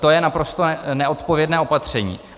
To je naprosto neodpovědné opatření.